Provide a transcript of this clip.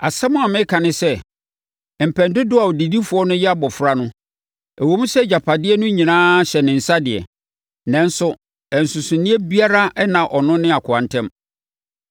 Asɛm a mereka ne sɛ, mpɛn dodoɔ a ɔdedifoɔ no yɛ abɔfra no, ɛwom sɛ agyapadeɛ no nyinaa hyɛ ne nsa deɛ, nanso nsonsonoeɛ biara nna ɔno ne akoa ntam.